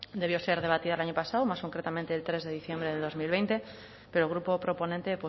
debió ser debatida el año pasado más concretamente el tres de diciembre de dos mil veinte pero el grupo proponente